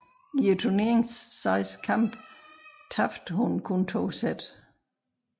I turneringens seks kampe tabte hun kun to sæt